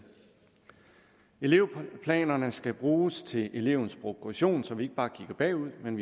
elevplanerne skal bruges til elevens progression så vi ikke bare kigger bagud men